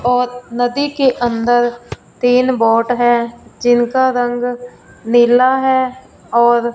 और नदी के अंदर तीन बोट हैं जिनका रंग नीला हैं और--